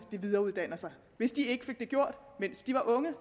videreuddanner sig hvis de ikke fik det gjort mens de var unge